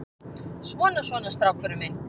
Svona, svona, strákurinn minn.